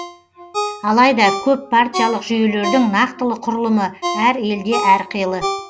алайда көппартиялық жүйелердің нақтылы құрылымы әр елде әрқилы